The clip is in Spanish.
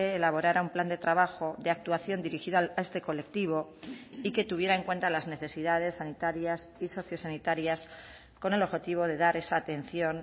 elaborara un plan de trabajo de actuación dirigida a este colectivo y que tuviera en cuenta las necesidades sanitarias y sociosanitarias con el objetivo de dar esa atención